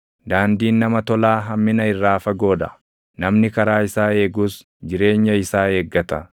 Daandiin nama tolaa hammina irraa fagoo dha; namni karaa isaa eegus jireenya isaa eeggata.